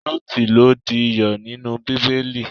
Lọ́ọtí lo di iyọ̀ nínú Bíbélì.